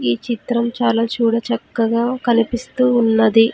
ఈ చిత్రం చాలా చూడ చక్కగా కనిపిస్తూ ఉన్నది.